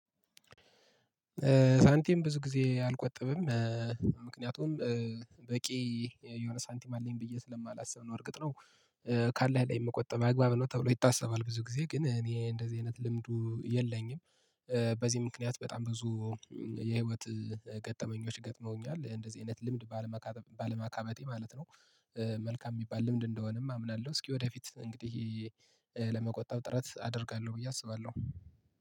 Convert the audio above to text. ሳንቲም ብዙ ጊዜ አልቆጠብም፤። ምክንያቱም በቂ የሆነ ሳንቲም አለኝ ብዬ ስለማላስብ ነው እርግጥ ነው። ካለህ ላይ የምቆጥመው አግባብ ነው ተብሎ ይታሰባል ብዙ ጊዜ ግን እኔ እንደዚህ አይነት ልምዱ የለኝም፤። በዚህ ምክንያት በጣም ብዙ የህይወት ገጠመኞች ገጥመውኛል እንደዚህ አይነት ልምድ ባለማካበቴ ማለት ነው፤። መልካም የሚባል ልምድ እንደሆነም አምናለሁ እስኪ ወደፊት እንግዲህ ለመቆጠብ ጥረት አደርጋለሁ ብዬ አስባለሁ